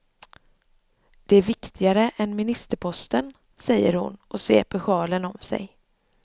Den är viktigare än ministerposten, säger hon och sveper sjalen om sig.